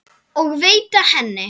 og veita henni.